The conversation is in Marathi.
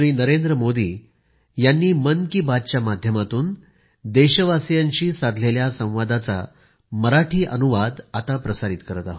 नवी दिल्ली 25 ऑक्टोबर 2020